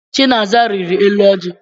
Chinasa rịrị elu ọjị.